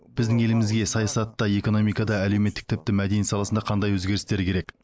біздің елімізге саясатта экономикада әлеуметтік тіпті мәдениет саласында қандай өзгерістер керек